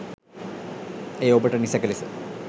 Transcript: එය ඔබට නිසැක ලෙස